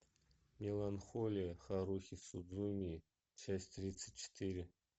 меланхолия харухи судзумии часть тридцать четыре